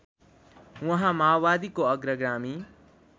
उहाँ माओवादीको अग्रगामी